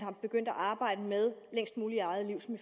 er begyndt at arbejde med længst muligt i eget liv som